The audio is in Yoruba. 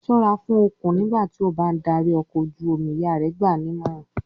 "Ṣọ́ra fún òkun nígbà tí ó bá ń darí ọkọ̀ ojú-omi!" Ìyá rẹ̀ gbà á nímọ̀ràn.